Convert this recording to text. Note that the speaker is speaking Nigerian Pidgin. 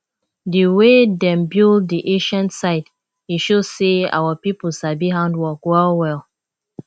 di way dem build di ancient site e show sey our pipo sabi handwork wellwell